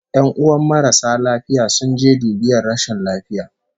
"Yanuwan marasa lafiya sun je dubiyar rashin lafiya